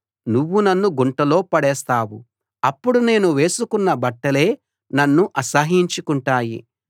నువ్వు నన్ను గుంటలో పడేస్తావు అప్పుడు నేను వేసుకున్న బట్టలే నన్ను అసహ్యించుకుంటాయి